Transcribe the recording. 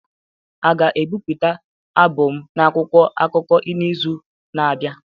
A ga-ebipụta abụ m n'akwụkwọ akụkọ n'izu na-abịa?